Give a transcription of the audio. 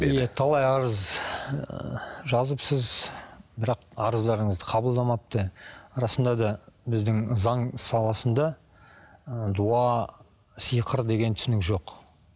иә талай арыз ы жазыпсыз бірақ арыздарыңызды қабылдамапты расында да біздің заң саласында ы дуа сиқыр деген түсінік жоқ